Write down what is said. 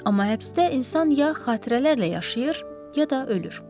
Amma həbsdə insan ya xatirələrlə yaşayır, ya da ölür.